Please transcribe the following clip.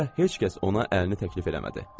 Bu dəfə heç kəs ona əlini təklif eləmədi.